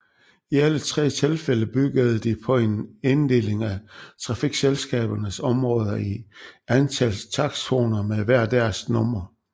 I alle tre tilfælde byggede de på en inddeling af trafikselskabernes områder i et antal takstzoner med hver deres nummer